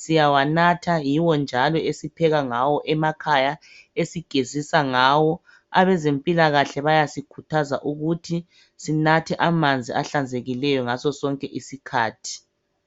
Siyawanatha, yiwo njalo esipheka ngawo emakhaya, esigezisa ngawo. Abezempilakahle bayasikhuthaza ukuthi sinathe amanzi ahlanzekileyo ngasosonke isikhathi.